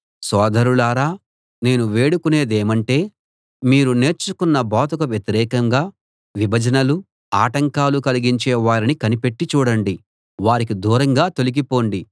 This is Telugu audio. సోదరులారా నేను వేడుకునేదేమంటే మీరు నేర్చుకొన్న బోధకు వ్యతిరేకంగా విభజనలు ఆటంకాలు కలిగించే వారిని కనిపెట్టి చూడండి వారికి దూరంగా తొలగిపొండి